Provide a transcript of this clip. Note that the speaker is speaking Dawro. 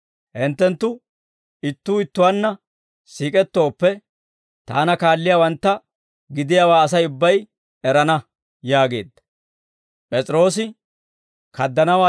Hinttenttu ittuu ittuwaanna siik'ettooppe, Taana kaalliyaawantta gidiyaawaa Asay ubbay erana» yaageedda.